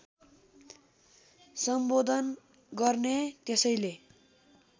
सम्बोधन गर्ने त्यसैले